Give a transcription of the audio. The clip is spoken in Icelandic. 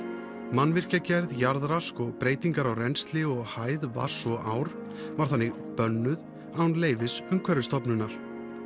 mannvirkjagerð jarðrask og breytingar á rennsli og hæð vatns og ár er þannig bönnuð án leyfis Umhverfisstofnunar